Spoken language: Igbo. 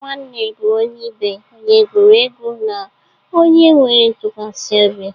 Nwanne bụ onye ibe, onye egwuregwu, na onye nwere ntụkwasị obi.